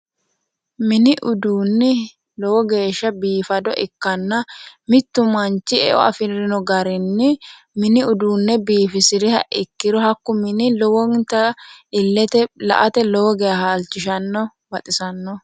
Mini uduunni lowo geeshsha biifado ikkanna mittu manchi eo afirino garinni mini uduunne biifisiriha ikkiro hakku mini lowonta illete la"ate halchishanno baxisanno.